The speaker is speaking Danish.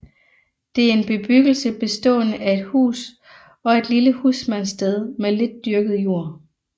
Det er en bebyggelse bestående af et hus og et lille husmandssted med lidt dyrket jord